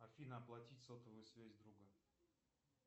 афина оплатить сотовую связь друга